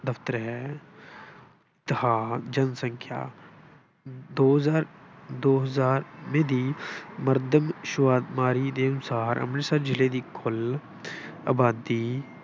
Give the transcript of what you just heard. ਦਫਤਰ ਹੈ ਅਤੇ ਹਾਂ ਜਨਸੰਖਿਆ ਦੋ ਹਜ਼ਾਰ ਦੋ ਹਜ਼ਾਰ ਵੀਹ ਦੀ ਮਰਦਮਸ਼ੁਮਾਰੀ ਦੇ ਅਨੁਸਾਰ ਅੰਮ੍ਰਿਤਸਰ ਜਿਲ੍ਹੇ ਦੀ ਕੁੱਲ ਆਬਾਦੀ